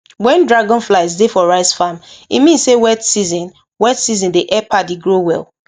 when dragonflies dey for rice farm e mean say wet season wet season dey help paddy grow well